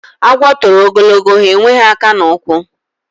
Agwo toro ogologo, ha enweghi aka na ukwu.